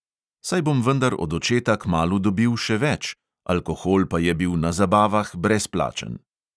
Saj bom vendar od očeta kmalu dobil še več, alkohol pa je bil na zabavah brezplačen.